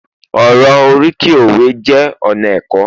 oro oriki òwe jé ona ẹkọ